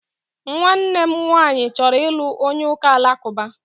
Nwannem nwanyi choro ilu onye uka Alakuba